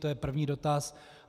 To je první dotaz.